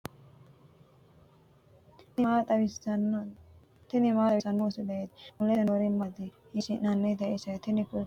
tini maa xawissanno misileeti ? mulese noori maati ? hiissinannite ise ? tini kultannori seesaho wodhineemmo culkaati. kunino lowo geeshsha biinfille aannoho.